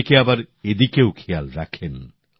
অনেকে আবার এদিকেও খেয়াল রাখেন